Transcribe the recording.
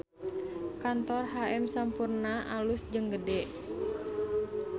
Kantor HM Sampoerna alus jeung gede